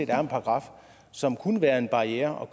er en paragraf som kunne være en barriere og